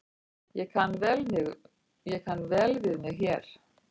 Ég kann vel við mig hér